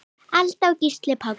Alda og Gísli Páll.